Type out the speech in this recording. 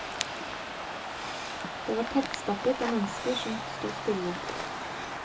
Det var tettstappet av mennesker som sto stille.